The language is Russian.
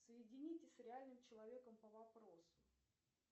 соедините с реальным человеком по вопросу